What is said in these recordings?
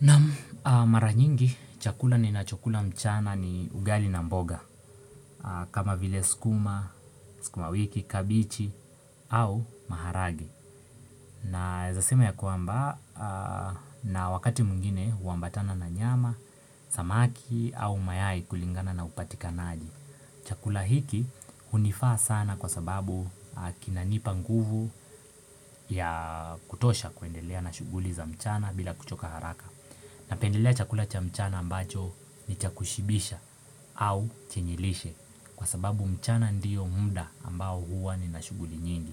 Naam mara nyingi chakula ninachokula mchana ni ugali na mboga. Kama vile skuma, skuma wiki, kabichi au maharage. Naezasema ya kuamba na wakati mwingine huambatana na nyama, samaki au mayai kulingana na upatikanaji. Chakula hiki unifaa sana kwa sababu kinanipa nguvu ya kutosha kuendelea na shuguli za mchana bila kuchoka haraka. Napendelea chakula cha mchana ambacho ni chakushibisha au chenye lishe kwa sababu mchana ndiyo muda ambao huwa ni nashuguli nyingi.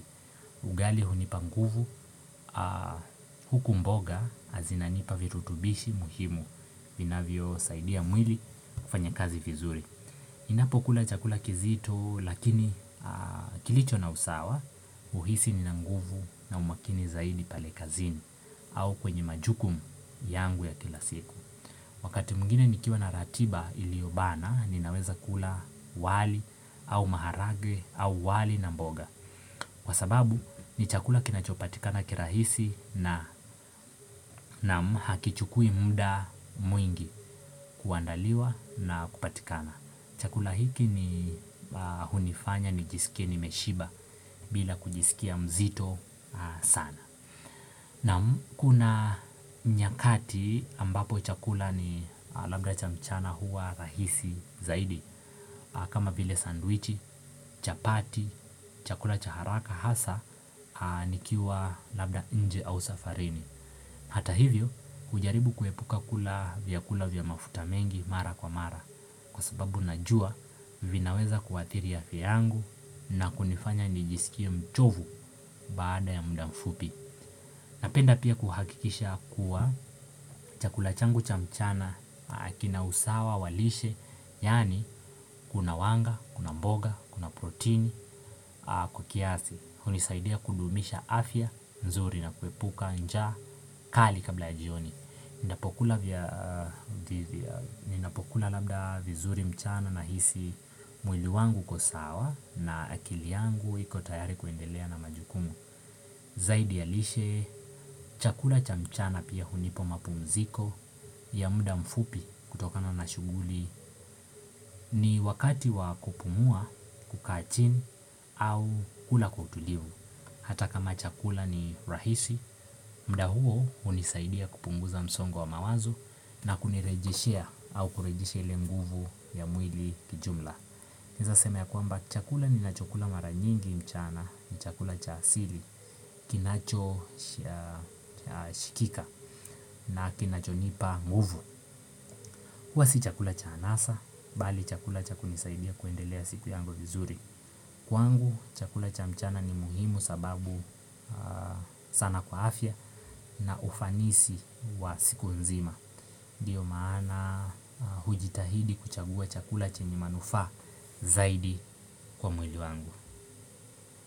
Ugali hunipanguvu huku mboga zinanipa virutubishi muhimu vinavyo saidia mwili kufanya kazi vizuri. Ninapo kula chakula kizito lakini kilicho na usawa uhisi nina nguvu na umakini zaidi pale kazini au kwenye majukumu yangu ya kila siku. Wakati mwingine ni kiwa na ratiba iliobana ninaweza kula wali au maharage au wali na mboga. Kwa sababu ni chakula kinachopatikana kirahisi na hakichukui muda mwingi kuandaliwa na kupatikana. Chakula hiki hunifanya nijiskie nimeshiba bila kujiskia mzito sana. Naam kuna nyakati ambapo chakula ni labda cha mchana huwa rahisi zaidi. Kama vile sandwichi, chapati, chakula cha haraka hasa nikiwa labda nje au safarini. Hata hivyo ujaribu kuepuka kula vyakula vya mafuta mengi mara kwa mara. Kwa sababu najua vinaweza kuathiri afya yangu na kunifanya nijisikia mchovu baada ya muda mfupi. Napenda pia kuhakikisha kuwa chakula changu cha mchana kina usawa walishe, yani kuna wanga, kuna mboga, kuna protein, kwa kiasi. Hunisaidia kudumisha afya, nzuri na kuepuka, njaa, kali kabla ya jioni. Ninapokula labda vizuri mchana nahisi mwiliwangu uko sawa na akiliangu ikotayari kuendelea na majukumu. Zaidi ya lishe, chakula cha mchana pia hunipo mapumziko ya muda mfupi kutokana na shuguli ni wakati wa kupumua, kukachini au kula kwa utulivu. Hata kama chakula ni rahisi, muda huo unisaidia kupunguza msongo wa mawazo na kunirejishea au kurejisha ile nguvu ya mwili kijumla. Naeza seme ya kwamba chakula ni na chakula maranyingi mchana, ni chakula cha asili, kinacho shikika na kinacho nipa nguvu huwa si chakula cha anasa, bali chakula cha kunisaidia kuendelea siku yangu vizuri. Kwangu, chakula cha mchana ni muhimu sababu sana kwa afya na ufanisi wa siku nzima. Dio maana hujitahidi kuchagua chakula chenye manufa zaidi kwa mwili wangu.